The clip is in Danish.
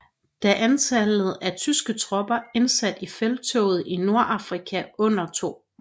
Da antallet af tyske tropper indsat i Felttoget i Nordafrika under 2